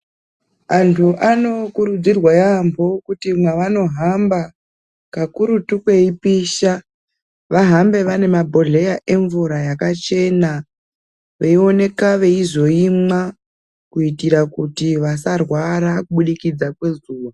Anthu anokurudzirwa yaampho uti mwavano hamba kakurutu kweipisha vahambe vane mabhodhleya emvura yakachena veioneka veizoimwa kuitira kuti vasarwara kubudikidza kwezuva.